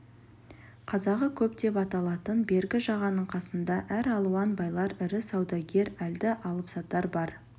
қазағы көп деп аталатын бергі жағаның қасында әралуан байлар ірі саудагер әлді алыпсатар бар